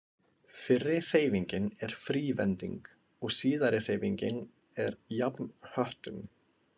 Fyrri hreyfingin er frívending og síðari hreyfingin er jafnhöttun.